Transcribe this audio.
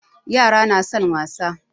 Yara na son wasa.